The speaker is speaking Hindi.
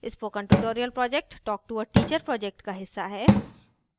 spoken tutorial project talk to a teacher project का हिस्सा है